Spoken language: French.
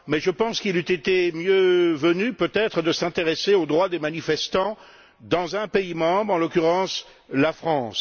Mais je pense qu'il eût été mieux venu, peut être, de s'intéresser aux droits des manifestants dans un pays membre, en l'occurrence, la France.